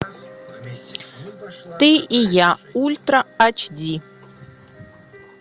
ты и я ультра ач ди